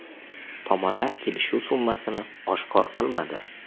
Tomonlar kelishuv summasini oshkor qilmadi.